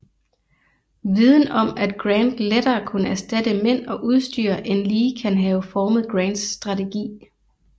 Viden om at Grant lettere kunne erstatte mænd og udstyr end Lee kan have formet Grants strategi